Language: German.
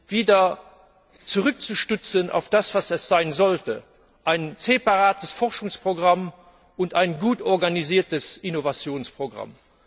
wieder zurückzustutzen auf das, was es sein sollte ein separates Forschungsprogramm und ein gut organisiertes Innovationsprogramm.